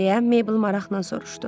deyə Meybl maraqla soruşdu.